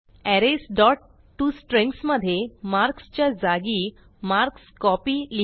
arrays dot to strings मधे marks च्या जागी मार्कस्कोपी लिहा